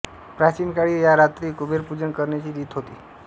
प्राचीन काळी या रात्री कुबेरपूजन करण्याची रीत होती